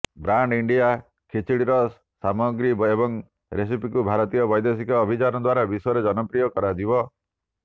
brand India ଖିଚିଡ଼ିର ସାମଗ୍ରୀ ଏବଂ ରେସିପିକୁ ଭାରତୀୟ ବୈଦେଶିକ ଅଭିଯାନ ଦ୍ୱାରା ବିଶ୍ୱରେ ଜନପ୍ରିୟ କରାଯିବ